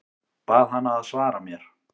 Bað hana að svara mér.